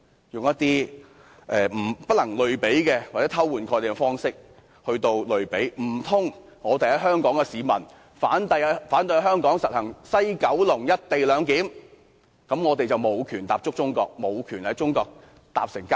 他們又以不能類比，或以偷換概念的方式來作比較，難道香港市民反對在西九龍站實施"一地兩檢"，便無權踏足中國，無權乘坐高鐵？